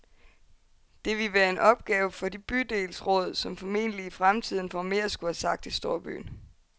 Det ville være en opgave for de bydelsråd, som forhåbentlig i fremtiden får mere at skulle have sagt i storbyen.